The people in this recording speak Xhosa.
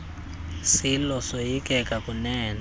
silo soyikeka kunene